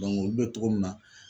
olu be togo min na